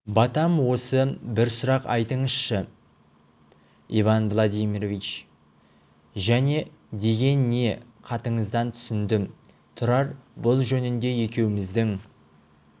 батам осы бір сұрақ айтыңызшы иван владимирович және деген не хатыңыздан түсіндім тұрар бұл жөнінде екеуміздің